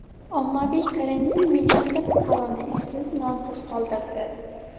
Ommaviy karantin millionlab fuqaroni ishsiz, nonsiz qoldirdi.